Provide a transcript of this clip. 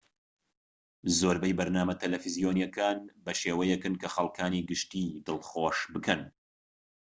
زۆربەی بەرنامە تەلەڤیزۆنیەکان بە شێوەیەکن کە خەڵکانی گشتیی دڵخۆش بکەن